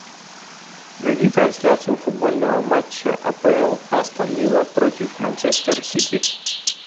найди трансляцию футбольного матча апл астон вилла против манчестер сити